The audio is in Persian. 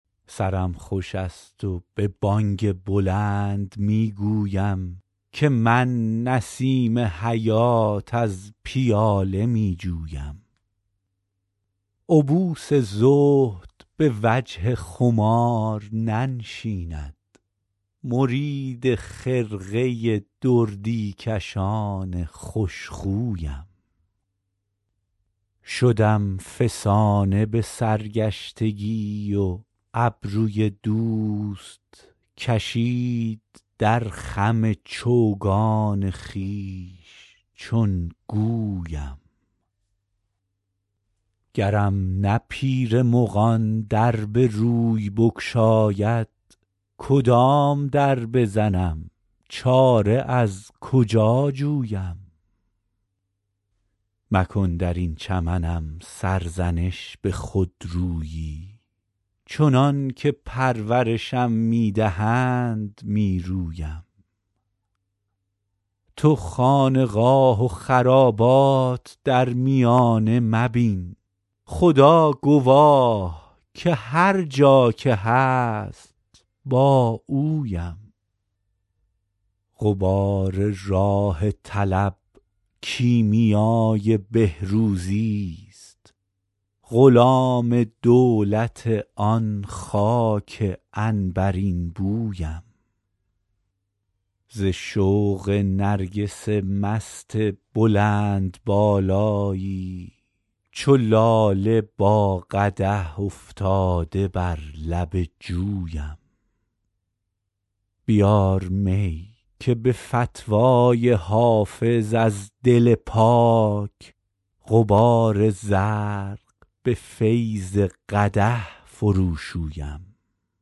سرم خوش است و به بانگ بلند می گویم که من نسیم حیات از پیاله می جویم عبوس زهد به وجه خمار ننشیند مرید خرقه دردی کشان خوش خویم شدم فسانه به سرگشتگی و ابروی دوست کشید در خم چوگان خویش چون گویم گرم نه پیر مغان در به روی بگشاید کدام در بزنم چاره از کجا جویم مکن در این چمنم سرزنش به خودرویی چنان که پرورشم می دهند می رویم تو خانقاه و خرابات در میانه مبین خدا گواه که هر جا که هست با اویم غبار راه طلب کیمیای بهروزیست غلام دولت آن خاک عنبرین بویم ز شوق نرگس مست بلندبالایی چو لاله با قدح افتاده بر لب جویم بیار می که به فتوی حافظ از دل پاک غبار زرق به فیض قدح فروشویم